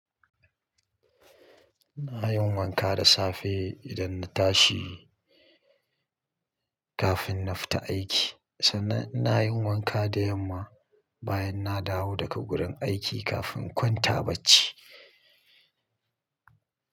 iNa yin wanka da safe idan na tashi kafin na fita aiki, sannan ina yin wanka da yamma bayan na dawo daga gurin aiki kafin kwanta bacci.